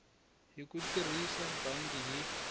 hi ku tirhisa bangi hi